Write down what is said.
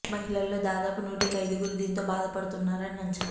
మహిళల్లో దాదా పు నూటికి ఐదుగురు దీంతో బాధపడుతున్నారని అంచ నా